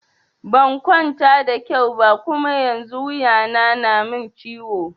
Ban kwanta da kyau ba Kuma yanzun wuya na na min ciwo.